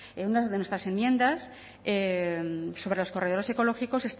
una de nuestras enmiendas sobre los corredores ecológicos